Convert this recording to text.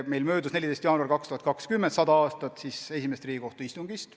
14. jaanuaril 2020 möödus 100 aastat esimesest Riigikohtu istungist.